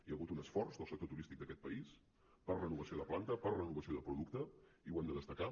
hi ha hagut un esforç del sector turístic d’aquest país per renovació de planta per renovació de producte i ho hem de destacar